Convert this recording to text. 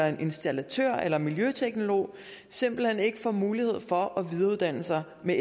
en installatør eller en miljøteknolog simpelt hen ikke får mulighed for at videreuddanne sig med